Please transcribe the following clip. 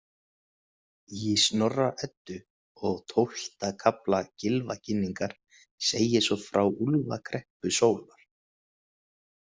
Í Snorra-Eddu, og tólfta kafla Gylfaginningar, segir svo frá úlfakreppu sólar